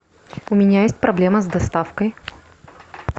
у меня есть проблема с доставкой